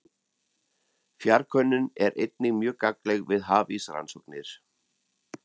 Fjarkönnun er einnig mjög gagnleg við hafísrannsóknir.